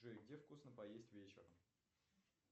джой где вкусно поесть вечером